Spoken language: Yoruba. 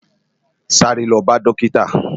Sàré lò bá dòkitá